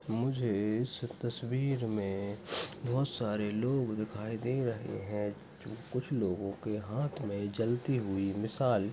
मुझे इस तस्वीर में बहुत सारे लोग दिखाई दे रहे हे कुछ लोगो के हाथ में जलती हुए मिसाल --